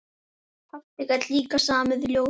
Pabbi gat líka samið ljóð.